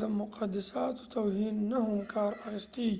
د مقدساتو توهین نه هم کار اخستی